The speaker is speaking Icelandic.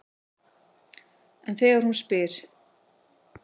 En þegar hún spyr